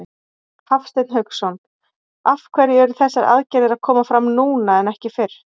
Hafsteinn Hauksson: Af hverju eru þessar aðgerðir að koma fram núna en ekki fyrr?